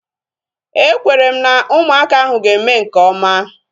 Ekwere m na ụmụaka ahu ga-eme nke oma